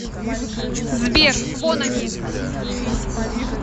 сбер вон они